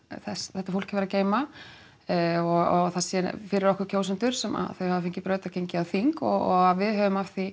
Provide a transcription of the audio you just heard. þetta fólk hefur að geyma og að það sé fyrir okkur kjósendur sem þau hafa fengið brautargengi á þing og að við höfum af því